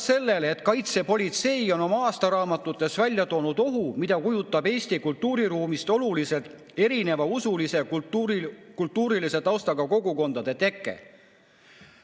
Kaitsepolitsei on oma aastaraamatutes välja toonud ohu, mida kujutab endast Eesti kultuuriruumist oluliselt erineva usulise ja kultuurilise taustaga kogukondade teke.